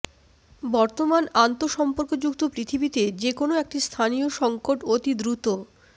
বর্তমান আন্তঃসম্পর্কযুক্ত পৃথিবীতে যে কোনো একটি স্থানীয় সংকট অতি দ্রুত